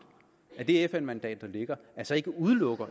at det fn mandat der ligger altså ikke udelukker